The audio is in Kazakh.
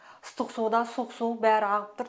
ыстық су да суық су бәрі ағып тұр